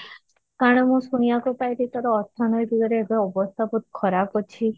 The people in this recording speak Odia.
କାରଣ ମୁଁ ଶୁଣିବାକୁ ପାଇଲି ତୋର ଅର୍ଥନୈତିକ ରେ ଏବେ ଅବସ୍ଥା ବହୁତ ଖରାପ ଅଛି?